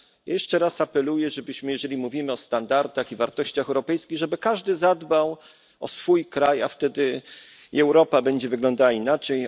Jeszcze raz apeluję, żeby jeżeli mówimy o standardach i wartościach europejskich każdy zadbał o swój kraj, a wtedy i Europa będzie wyglądała inaczej.